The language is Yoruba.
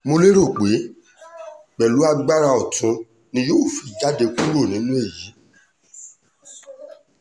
mo lérò pé pẹ̀lú agbára ọ̀tún ni yóò fi jáde kúrò nínú èyí